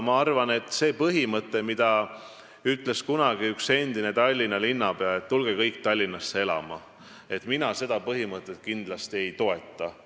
Aga seda põhimõtet, mille ütles kunagi välja üks endine Tallinna linnapea, et tulge kõik Tallinnasse elama, mina kindlasti ei toeta.